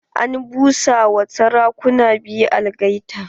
An busa ma sarakuna biyu algaita.